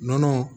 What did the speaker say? Nɔnɔ